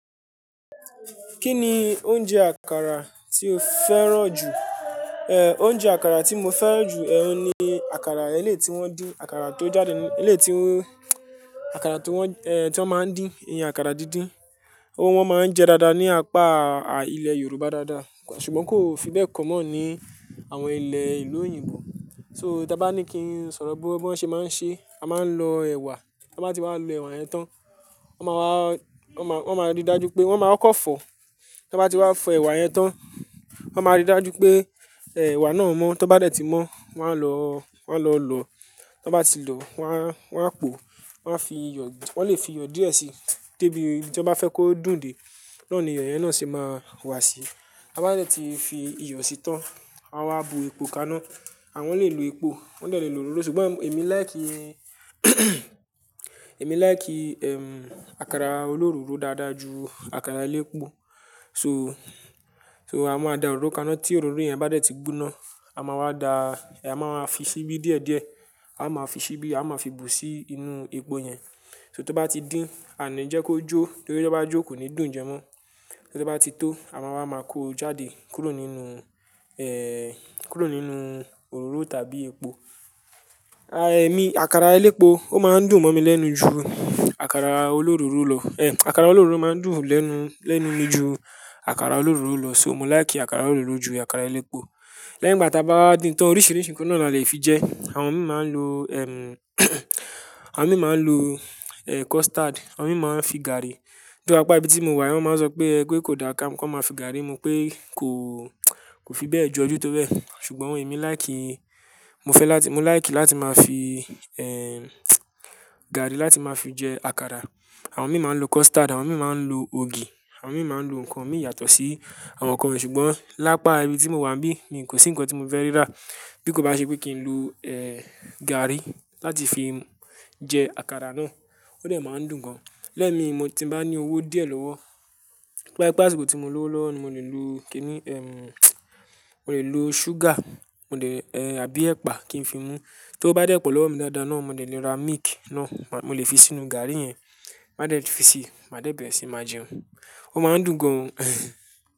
Kí ni oúnjẹ àkàrà tí o fẹ́ràn jù? Oúnjẹ àkàrà tí mo fẹ́ràn jù ẹ́, òun ni àkàrà eléti wọn dín, àkàrà tó jáde ní eléti wọn, àkàrà tí wọ́n, tí wọ́n máa ń dín, iye àkàrà dídín. Òun wọn máa ń jẹ dáadáa ní apá, ilẹ̀ Yorùbá dáadáa, ṣùgbọ́n kò fi bẹ́ẹ̀ common ní àwọn ilẹ̀ ìlú òyìnbó. So, tí a bá ní kí n sọ̀rọ̀ bó, bó ṣe máa ń ṣe, a máa ń lọ ẹ̀wà, tí wọ́n bá ti wá lo ẹ̀wà yẹn tán, wọ́n máa wá, wọ́n máa, wọ́n máa rí i dájú pé wọ́n máa kọ́ fọ̀. Tí wọ́n bá ti wá fọ ẹ̀wà yẹn tán, wọ́n máa rí i dájú pé, ẹ̀wà náà mọ́. Tí wọ́n bá dẹ̀ ti mọ́, wọ́n á lọ, wọ́n á lọ lò. Tí wọ́n bá ti lò wọ́n á, wọ́n á pò, wọ́n á fi iyọ̀, wọ́n lè fi iyọ̀ díẹ̀ síi. De bi tí wọ́n bá fẹ́ kó dùn dé, naa ni iyọ̀ yẹn náà ṣe máa wá sí. Ta bá dẹ̀ ti fi iyọ̀ síi tán, won wa bu epo kaná, àwọn lè lo epo, wọ́n dẹ̀ lè lo òróró. Ṣùgbọ́n èmi like, èmi like, àkàrà òloróró dáadáa ju àkàrà elépo. So, so a máa da òróró kaná tí òróró yẹn bá dẹ̀ ti gbóná, a máa wá da, a máa máa fi síbí díẹ̀ díẹ̀. A máa fi síbí, a máa fi bù sí inú epo yẹn. So tí ó bá ti dín, a ní jẹ́ kó jó, torí tí ó bá jó kò ní dùn jẹ mọ́. Torí tí ó bá ti tó, a wa maa kó jáde kúrò nínú, kúrú nínú òróró tàbí epo. Èmi, àkàrà elépo ó máa ń dùn mọ́ mi lẹ́nu ju àkàrà olóróró lọ. Àkàrà olóróró máa ń dùn lẹ́nu, lẹ́nu mi ju àkàrà olóróró lọ, so mo láì kí àkàrà olóróró ju àkàrà elépo. Lẹ́yìn ìgbà tí a bá dín tán oríṣiríṣi nǹkan náà la lè fi jẹ. Àwọn mìí máa ń lo, àwọn mìí máa ń lo, custard, àwọn mìí máa ń fi gàrí. Though apa ibi tí mo wà yi, wọ́n máa ń sọ pé ẹ kò da kán maa fi gàrí, mu pé kò, kò fi bẹ́ẹ̀ jo ojú tó bẹ́ẹ̀. Ṣùgbọ́n èmi like, mo fẹ́ láti, mo like láti máa fi, gàrí láti máa fi jẹ àkàrà. Àwọn mìí máa ń lo custard, àwọn mìí máa ń lo ògì, àwọn mìí máa ń lo nǹkan mìí yàtọ̀ sí àwọn nǹkan yen. Ṣùgbọ́n lápá, ibi tí mo wà n bí, mi kò sí nǹkan tí mo fẹ́ rí rà. Bí kò bá ṣe pé kí n lo, gàrí láti fi jẹ àkàrà náà, ó dẹ̀ máa ń dùn gan. Lẹ́ẹ̀mi mo tí n bá ní owó díẹ̀ lọ́wọ́, to ba jepe asiko tí mo lọ́wọ́ lọ́wọ́, mo lè lo kí ni, mo lè lo ṣúgà, mo lè, àbí ẹpa kí n fi mú. Tó wo bá dẹ̀ pọ̀ lọ́wọ́ mi dáadáa náà, mo de le ra milk náà, mo lè fi sínú gàrí yẹn, máa dẹ̀ ti fi ṣe, máa dẹ̀ bẹ̀rẹ̀ síí máa jẹun. Ó máa ń dùn gan.